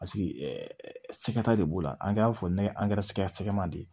Paseke sɛgɛta de b'o la an y'a fɔ ne ye sɛgɛma de